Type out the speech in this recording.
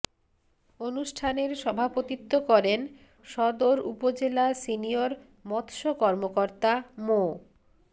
অনুষ্ঠানের সভাপতিত্ব করেন সদর উপজেলা সিনিয়র মৎস্য কর্মকর্তা মো